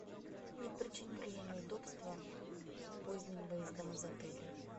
не причиню ли я неудобства поздним выездом из отеля